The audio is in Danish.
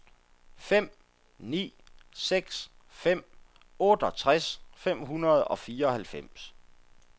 fem ni seks fem otteogtres fem hundrede og fireoghalvfems